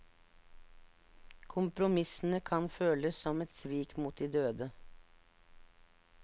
Kompromissene kan føles som et svik mot de døde.